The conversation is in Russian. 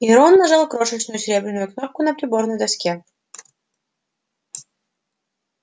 и рон нажал крошечную серебряную кнопку на приборной доске